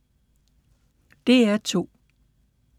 DR2